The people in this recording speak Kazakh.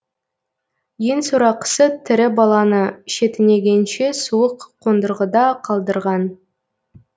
ең сорақысы тірі баланы шетінегенше суық қондырғыда қалдырған